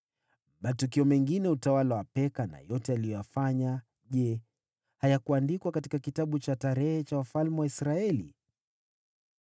Matukio mengine ya utawala wa Peka na yote aliyoyafanya, je, hayakuandikwa katika kitabu cha kumbukumbu za wafalme wa Israeli?